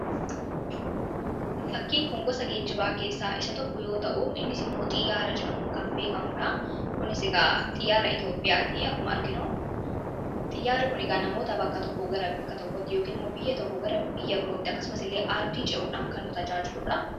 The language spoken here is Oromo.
Fakkiin kun gosa geejjibaa keessaa tokko yeroo ta’u, innis immoo xiyyaara jedhamuun kan beekamudha. Kinis egaa xiyyaara Itoophiyaati akkuma arginu, Xiyyaarri kun egaa namoota bakka tokkoo bakka biraatti yookiin immoo biyya tokkoo biyya birootti akkasumas illee ardii ce'uudhaan kan nu tajaajiludha.